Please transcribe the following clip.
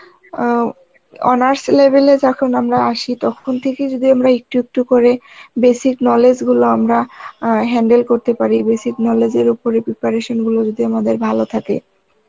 অ্যাঁ honors level এ যখন আমরা আসি তখন থেকেই যদি আমরা একটু একটু করে basic knowledge গুলো আমরা অ্যাঁ handle করতে পারি, basic knowledge এর ওপরে preparation গুলো যদি আমাদের ভালো থাকে